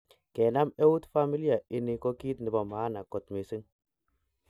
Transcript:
Kenam eut familia ini ko kit nepo maana kot missing.